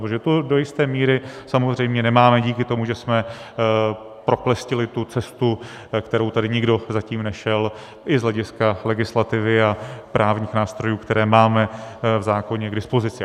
Protože to do jisté míry samozřejmě nemáme díky tomu, že jsme proklestili tu cestu, kterou tady nikdo zatím nešel, i z hlediska legislativy a právních nástrojů, které máme v zákoně k dispozici.